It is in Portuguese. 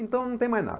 Então não tem mais nada.